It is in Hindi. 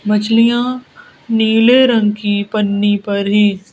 मछलियां नीले रंग की पन्नी पर है।